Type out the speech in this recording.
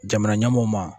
Jamana ɲɛmɔɔw ma